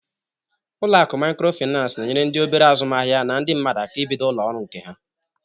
Ụlọ akụ Maịkrofịnansị na-enyere ndị obere azụmaahịa na ndị mmadụ aka ibido ụlọ ọrụ nke ha.